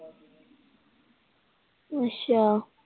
ਅੱਛਾ।